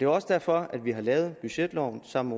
også derfor vi har lavet budgetloven sammen